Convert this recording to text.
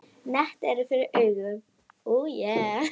Net er fyrir augum.